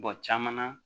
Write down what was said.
caman na